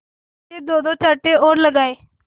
से दोदो चांटे और लगाए